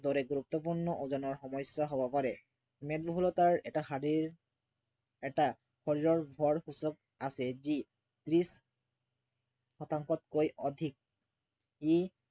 দৰে গুৰুত্বপূৰ্ণ ওজনৰ সমস্য়া হব পাৰে। মেদবহুলতাৰ এটা শাৰীৰ এটা শৰীৰৰ ভৰ সূচক আছে যি ত্ৰিছ শতাংশতকৈ অধিক ই